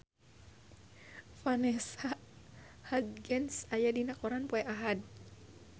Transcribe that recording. Vanessa Hudgens aya dina koran poe Ahad